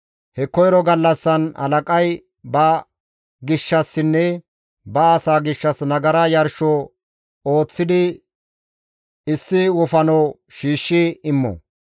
He koyro gallassan halaqay ba gishshassinne ba asaa gishshas nagara yarsho ooththidi issi wofano shiishshi immo.